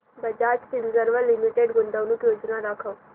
Bajaj Finserv limited गुंतवणूक योजना दाखव